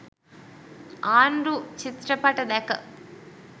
ආණ්ඩු චිත්‍රපට දැක